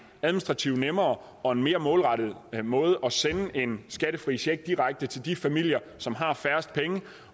administrativt nemmere og mere målrettet måde at sende en skattefri check på direkte til de familier som har færrest penge